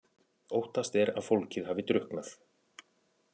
Óttast er að fólkið hafi drukknað